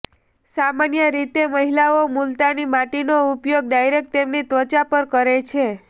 સામાન્ય રીતે મહિલાઓ મુલતાની માટીનો ઉપયોગ ડાયરેક્ટ તેમની ત્વચા પર કરે છે